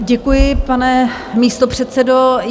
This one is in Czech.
Děkuji, pane místopředsedo.